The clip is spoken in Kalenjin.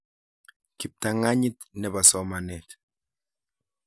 Kiptang'anyit nepo somanet